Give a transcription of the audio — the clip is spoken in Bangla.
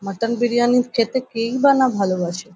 মাটন বিরিয়ানি খেতে কেই বা না ভালবাসে ।